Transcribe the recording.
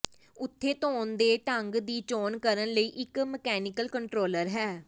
ਉੱਥੇ ਧੋਣ ਦੇ ਢੰਗ ਦੀ ਚੋਣ ਕਰਨ ਲਈ ਇੱਕ ਮਕੈਨੀਕਲ ਕੰਟਰੋਲਰ ਹੈ